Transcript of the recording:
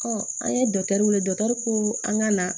an ye weele dɔ ko an ka na